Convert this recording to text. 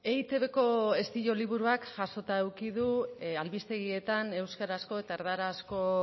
eitbko estilo liburuak jasota eduki du albistegietan euskarazko eta erdarazko